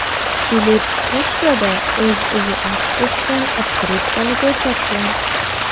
Filip pochtada o‘z uyi aks etgan otkritkani ko‘rsatgan.